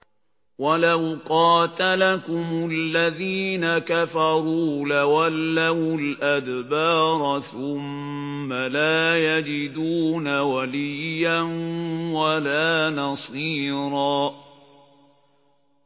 وَلَوْ قَاتَلَكُمُ الَّذِينَ كَفَرُوا لَوَلَّوُا الْأَدْبَارَ ثُمَّ لَا يَجِدُونَ وَلِيًّا وَلَا نَصِيرًا